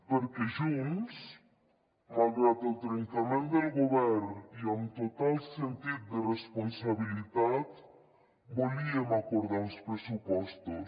perquè junts malgrat el trencament del govern i amb total sentit de responsabilitat volíem acordar uns pressupostos